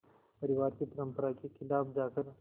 परिवार की परंपरा के ख़िलाफ़ जाकर